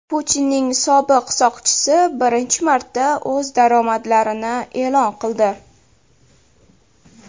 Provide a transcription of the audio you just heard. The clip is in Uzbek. Putinning sobiq soqchisi birinchi marta o‘z daromadlarini e’lon qildi.